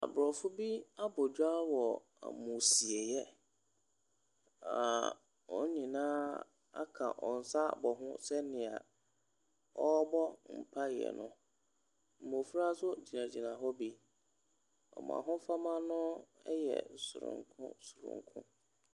Aborɔfo bi abɔ dwa wɔ ammusieeɛ, a wɔn nyinaa aka wɔn nsa abɔ ho sɛnea wɔrebɔ mpaeɛ no. mmɔfra nso gyinagyina hɔ bi. Wɔn ahofama no yɛ soronko soronko.